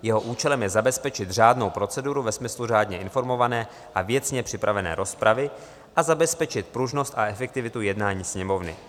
Jeho účelem je zabezpečit řádnou proceduru ve smyslu řádně informované a věcně připravené rozpravy a zabezpečit pružnost a efektivitu jednání Sněmovny.